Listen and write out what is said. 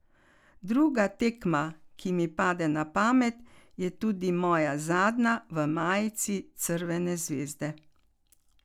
Druga tekma, ki mi pade na pamet, je tudi moja zadnja v majici Crvene zvezde.